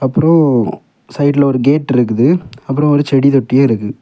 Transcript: அப்றோ சைடுல ஒரு கேட் இருக்குது அப்றொ ஒரு செடி தொட்டியு இருக்குது.